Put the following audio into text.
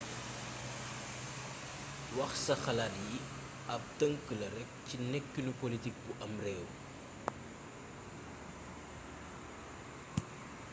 wax sa xalaat yi ab tëngk la rekk ci nekkinu politik bu ab réew